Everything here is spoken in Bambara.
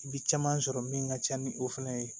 I bi caman sɔrɔ min ka ca ni o fɛnɛ ye